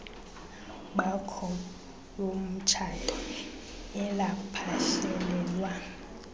bakho bomtshato elaphehlelelwa